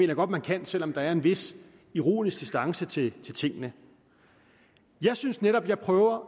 jeg godt man kan selv om der er en vis ironisk distance til tingene jeg synes netop jeg prøver